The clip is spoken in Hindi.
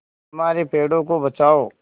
हमारे पेड़ों को बचाओ